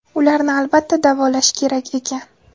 Ularni albatta davolash kerak ekan.